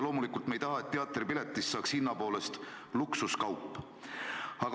Loomulikult me ei taha, et teatripiletist saaks hinna poolest luksuskaup.